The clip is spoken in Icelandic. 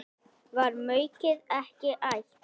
Var maukið ekki ætt?